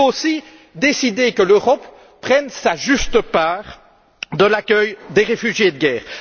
Il nous faut aussi décider que l'Europe assume sa juste part de l'accueil des réfugiés de guerre.